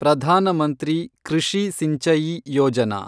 Pradhan Mantri Krishi Sinchayee Yojana